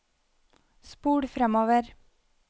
spol fremover